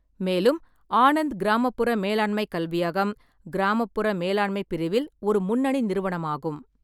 மேலும், ஆனந்த் கிராமப்புற மேலாண்மைக் கல்வியகம் கிராமப்புற மேலாண்மைப் பிரிவில் ஒரு முன்னணி நிறுவனமாகும்.